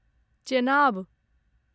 Chenab